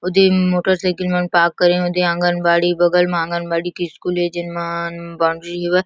ओदे मम्म मोटरसाइकिल मन पार्क करिन ओदे आंगनबाड़ी बगल म आंगनबाड़ी के स्कूल ए जेन म न बॉउंड्री हेवय।